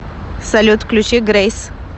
салют включи грэйс